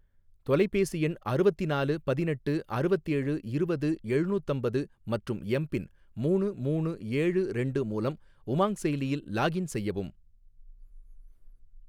தொலைபேசி எண் அறுவத்தினாலு பதினெட்டு அறுவத்தேழு இருவது எழுநூத்தம்பது மற்றும் எம் பின் மூணு மூணு ஏழு ரெண்டு மூலம் உமாங் செயலியில் லாக்இன் செய்யவும்